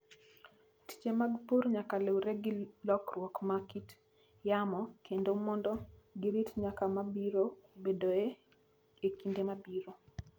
Tije mag pur nyaka luwre gi lokruok ma kit yamo kelo mondo girit nyak ma biro bedoe e kinde mabiro.